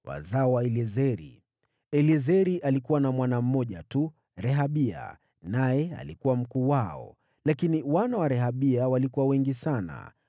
Wazao wa Eliezeri: Rehabia alikuwa wa kwanza. Eliezeri alikuwa na mwana mmoja tu, lakini wana wa Rehabia walikuwa wengi sana.